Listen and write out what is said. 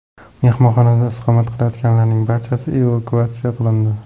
Mehmonxonada istiqomat qilayotganlarning barchasi evakuatsiya qilindi.